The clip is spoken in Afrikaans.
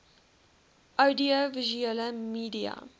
oudio visuele media